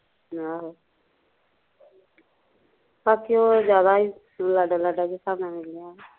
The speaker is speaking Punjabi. ਆਹੋ ਬਾਕੀ ਉਹ ਜਿਆਦਾ ਈ ਲਾਡਾਂ ਲਾਡਾਂ ਚ ਰਿਹਾ